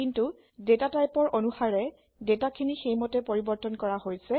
কিন্তু ডেটা টাইপৰ অনুসাৰে ডেটাখিনি সেইমতে পৰিবৰ্তন কৰা হৈছে